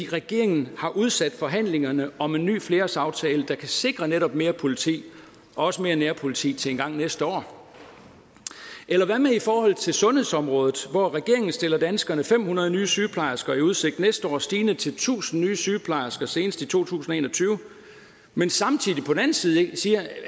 regeringen har udsat forhandlingerne om en ny flerårsaftale der kan sikre netop mere politi også mere nærpoliti til engang næste år eller hvad med i forhold til sundhedsområdet hvor regeringen stiller danskerne fem hundrede nye sygeplejersker i udsigt næste år stigende til tusind nye sygeplejersker senest i to tusind og en og tyve men samtidig på den anden side siger